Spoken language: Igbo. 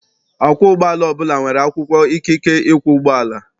Ọkwọ ụgbọala ọbụla nwere akwụkwọ ikike ịkwọ ụgbọala.